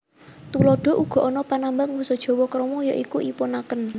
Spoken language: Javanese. Tuladha Uga ana panambang basa Jawa krama ya iku ipun aken